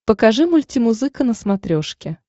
покажи мультимузыка на смотрешке